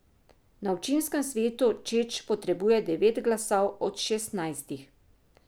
Na občinskem svetu Čeč potrebuje devet glasov od šestnajstih.